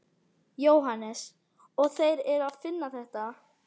Jóhannes: Og þeir eru að finna þetta?